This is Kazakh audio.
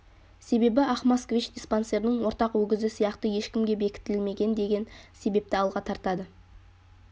себебі ақ москвич диспансердің ортақ өгізі сияқты ешкімге бекітілмеген деген себепті алға тартады